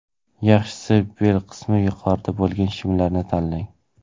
Yaxshisi bel qismi yuqorida bo‘lgan shimlarni tanlang.